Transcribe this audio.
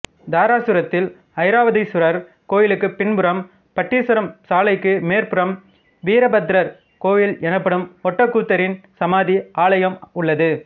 தாராசுரத்தில் ஐராவதீசுவரர் கோயிலுக்குப் பின்புறம் பட்டீச்சரம் சாலைக்கு மேற்புறம் வீரபத்திரர் கோயில் எனப்படும் ஒட்டக்கூத்தரின் சமாதி ஆலயம் உள்ளது